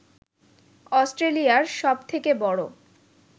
অস্ট্রেলিয়ার সবথেকে বড়